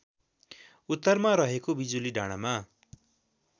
उत्तरमा रहेको बिजुलीडाँडामा